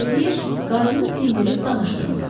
qarı onu dindirib danışdırmırdı.